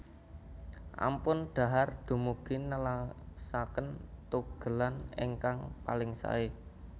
Ampun dhahar dumugi nelasaken tugelan ingkang paling saé